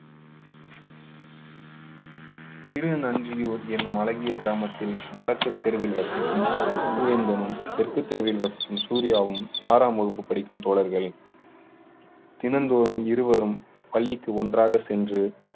திருநஞ்சியூர் என்னும் அழகிய கிராமத்தில் வடக்கு தெருவில் வசிக்கும் பூவேந்தனும் தெற்கு தெருவில் வசிக்கும் சூர்யாவும் ஆறாம் வகுப்பு படிக்கும் தோழர்கள் தினந்தோறும் இருவரும் பள்ளிக்கு ஒன்றாக சென்று